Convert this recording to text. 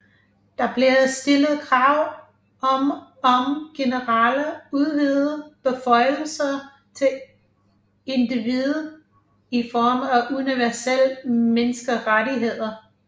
Der blev stillet krav om om generelle udvidede beføjelser til individet i form af universelle menneskerettigheder